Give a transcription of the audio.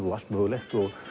og allt mögulegt og